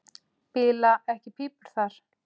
Bila ekki pípur þar.